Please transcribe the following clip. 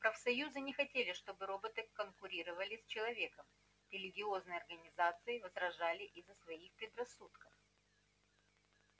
профсоюзы не хотели чтобы роботы конкурировали с человеком религиозные организации возражали из-за своих предрассудков